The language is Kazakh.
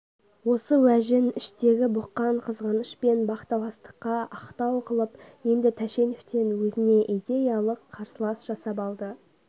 осы уәжін іштегі бұққан қызғаныш пен бақталастыққа ақтау қылып енді тәшеновтен өзне идеялық қарсылас жасап алды